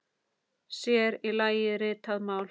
Sér í lagi ritað mál.